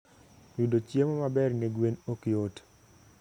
Yudo chiemo maber ne gwen ok yot.